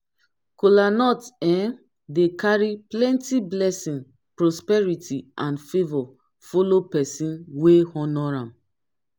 kolanut um dey kari plenti blessin prosperity and favor follow pesin wey honor am